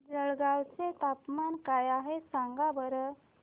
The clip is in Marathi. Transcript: जळगाव चे तापमान काय आहे सांगा बरं